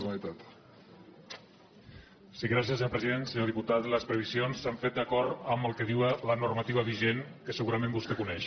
senyor diputat les previsions s’han fet d’acord amb el que diu la normativa vigent que segurament vostè coneix